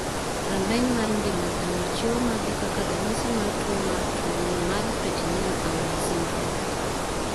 Rameny mar ng'ima dhano chiwo magi kaka ranyisi mar tuo mar tuo ni mar Penttinen Aula syndrome.